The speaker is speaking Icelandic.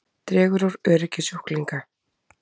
Dregur úr öryggi sjúklinga